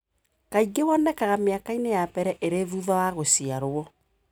Kaingĩ wonekaga mĩaka-inĩ ya mbere ĩrĩ thutha wa gũciarwo.